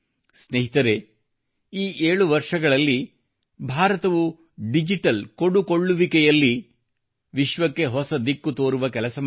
ಸ್ನೇಹಿತರೆ ಈ 7 ವರ್ಷಗಳಲ್ಲಿ ಭಾರತವು ಡಿಜಿಟಲ್ ಪಾವತಿ ಮೂಲಕ ಕೊಡುಪಡೆಯುವಲ್ಲಿ ಕೊಡುಕೊಳ್ಳುವಿಕೆಯಲ್ಲಿ ವಿಶ್ವಕ್ಕೆ ಹೊಸ ದಿಕ್ಕು ತೋರುವ ಕೆಲಸ ಮಾಡಿದೆ